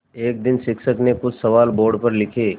एक दिन शिक्षक ने कुछ सवाल बोर्ड पर लिखे